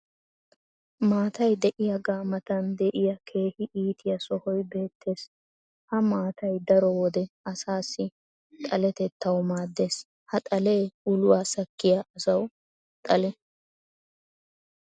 maatay diyaagaa matan diya keehi iitiya sohoy beetees. ha maattay daro wode asaassi xaletettawu maadees. ha xalee ulwaa sakkiya asawu xale.